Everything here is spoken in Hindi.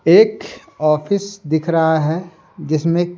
एक ऑफिस दिख रहा है जिसमें--